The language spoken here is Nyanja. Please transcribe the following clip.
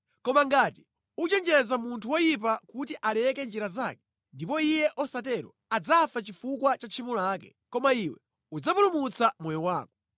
Koma ngati uchenjeza munthu woyipa kuti aleke njira zake, ndipo iye osatero, adzafa chifukwa cha tchimo lake, koma iwe udzapulumutsa moyo wako.